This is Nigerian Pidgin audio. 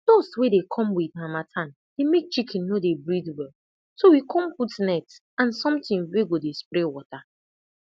dust wey dey come with harmattan dey make chicken no dey breath well so we come put net and something wey go dey spray water